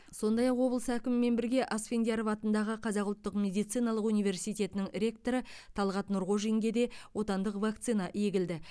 сондай ақ облыс әкімімен бірге асфендияров атындағы қазақ ұлттық медициналық университетінің ректоры талғат нұрғожинге де отандық вакцина егілді